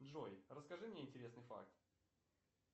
джой расскажи мне интересный факт